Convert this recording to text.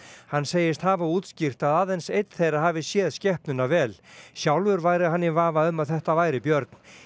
hann segist hafa útskýrt að aðeins einn þeirra hafi séð skepnuna vel sjálfur væri hann í vafa um að þetta væri björn